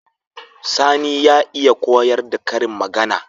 Sani ya iya koyar da karin magAna